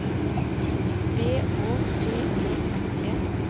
B Å T E N E